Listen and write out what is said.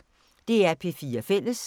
DR P4 Fælles